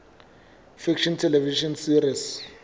fiction television series